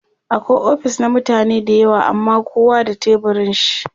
akwai ofis na mutane da yawa amma kowa da teburin shi